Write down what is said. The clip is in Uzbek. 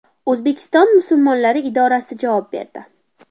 O‘zbekiston musulmonlari idorasi javob berdi.